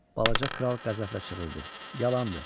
Balaca Kral qəzəblə çığırdı: Yalandır.